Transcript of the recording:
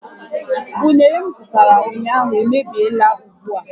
Unere m zụtara ụnyaahụ emebiela ugbua